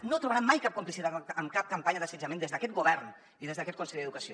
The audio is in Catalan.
no trobarà mai cap complicitat amb cap campanya d’assetjament des d’aquest govern i des d’aquest conseller d’educació